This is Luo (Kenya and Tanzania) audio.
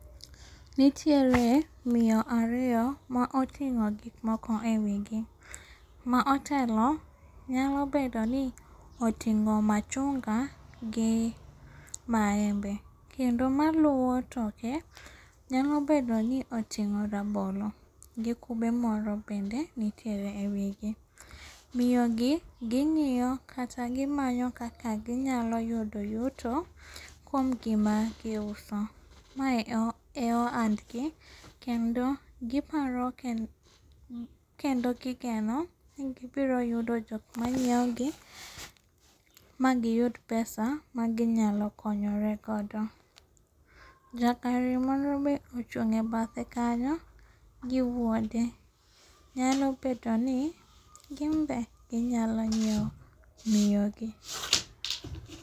Nitiere miyo ariyo ma oting'o gik moko ewigi. Ma otelo nyalo bedoni oting'o machunga gi maembe. Kendo maluowo toke, nyalo bedo ni oting'o rabolo gi kube moro bende nitiere ewigi. Miyogi ging'iyo kata gimanyo kaka ginyalo yudo yuto kuom gima gi uso mae e oandgi. Kendo giparo kendo gigeno ni gibiro yudo jokmanyiewogi ma gi yud pesa ma gi nyalo konyore godo. Jagari moro ochung'e abathe kanyo gi wuode. Nyalo bedoni ginbe ginyalo nyiewo miyogi.